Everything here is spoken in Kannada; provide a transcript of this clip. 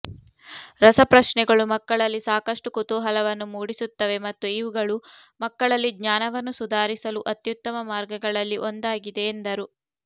ರಸಪ್ರಶ್ನೆಗಳು ಮಕ್ಕಳಲ್ಲಿ ಸಾಕಷ್ಟು ಕುತೂಹಲವನ್ನು ಮೂಡಿಸುತ್ತವೆ ಮತ್ತು ಇವುಗಳು ಮಕ್ಕಳಲ್ಲಿ ಜ್ಞಾನವನ್ನು ಸುಧಾರಿಸಲು ಅತ್ಯುತ್ತಮ ಮಾರ್ಗಗಳಲ್ಲಿ ಒಂದಾಗಿದೆ ಎಂದರು